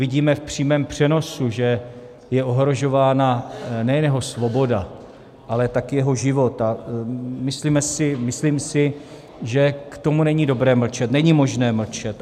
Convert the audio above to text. Vidíme v přímém přenosu, že je ohrožována nejen jeho svoboda, ale taky jeho život, a myslím si, že k tomu není dobré mlčet, není možné mlčet.